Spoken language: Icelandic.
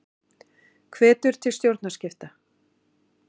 Hvetur til stjórnarskipta